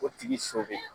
O tigi so bɛ